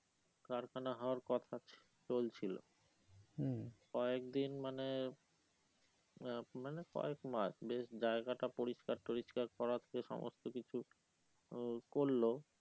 কারখানা হওয়ার কথা চলছিল কয়েক দিন মানে আহ মানে কয়েক মাস বেশ জায়গাটা পরিষ্কার টোরিস্কার করাচ্ছে সমস্ত কিছু আহ করলো